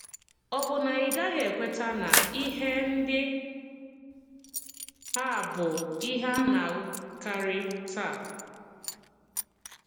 Ọ̀ bụ na ị gaghị ekwètà na ihe ndị à bụ ihe à na-ahùkàrị tàà?